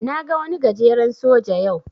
Na ga wani gajeren soja yau.